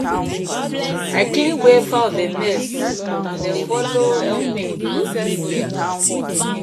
i clean where fowl dem mess and dem follow help me process soya